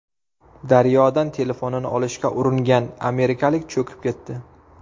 Daryodan telefonini olishga uringan amerikalik cho‘kib ketdi.